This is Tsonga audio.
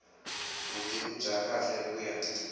vutivi bya kahle ku ya